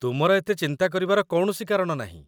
ତୁମର ଏତେ ଚିନ୍ତା କରିବାର କୌଣସି କାରଣ ନାହିଁ